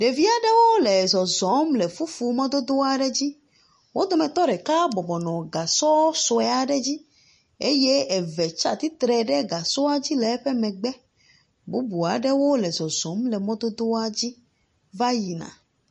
Ɖevi aɖewo le zɔzɔm le fufu mɔdodo aɖe dzi, wo dometɔ ɖeka bɔbɔna gasɔ sue aɖe dzi eye eve tsi atitrɛ ɖe gasɔa dzi le eƒe megbes bubu aɖewo le zɔzɔm le mɔdodoa va yina.